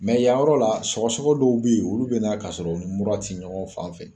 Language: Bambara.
yan yɔrɔ la sɔgɔsɔgɔ dɔw bɛ yen olu bɛ na k'a sɔrɔ u ni mura ti ɲɔgɔn fan fɛ